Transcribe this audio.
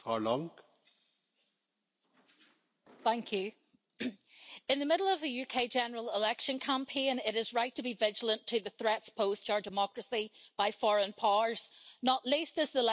Mr President, in the middle of a UK general election campaign, it is right to be vigilant to the threats posed to our democracy by foreign powers, not least as the lessons of the Brexit referendum have not been learned.